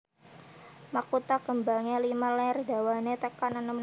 Makutha kembangé limang ler dawané tekan enem mm